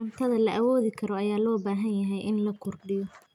Cuntada la awoodi karo ayaa loo baahan yahay in la kordhiyo.